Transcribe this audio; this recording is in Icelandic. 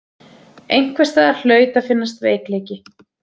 Einhvers staðar hlaut að finnast veikleiki.